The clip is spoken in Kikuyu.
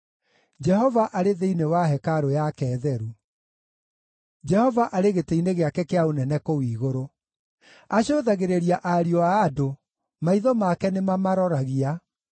Jehova arĩ thĩinĩ wa hekarũ yake theru; Jehova arĩ gĩtĩ-inĩ gĩake kĩa ũnene kũu igũrũ. Acũthagĩrĩria ariũ a andũ; maitho make nĩmamaroragia.